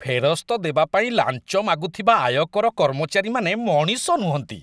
ଫେରସ୍ତ ଦେବା ପାଇଁ ଲାଞ୍ଚ ମାଗୁଥିବା ଆୟକର କର୍ମଚାରୀମାନେ ମଣିଷ ନୁହନ୍ତି।